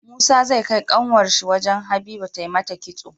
Musa zai kai kanwar shi wajan habiba ta mata kitso